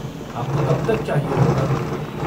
आपको कब तक चाहिए होगा?